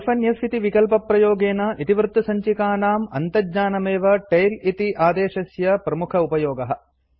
hyphen f इति विकल्पप्रयोगेन इतिवृत्तसञ्चिकानां अन्तज्ञानमेव टेल इति आदेशस्य प्रमुखोपयोगः